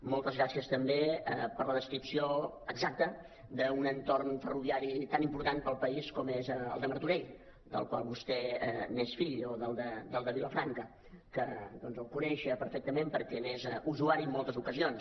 moltes gràcies també per la descripció exacta d’un entorn ferroviari tan important per al país com és el de martorell del qual vostè és fill o del de vilafranca que coneix perfectament perquè n’és usuari en moltes ocasions